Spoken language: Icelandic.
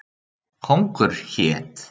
Kóngur hét.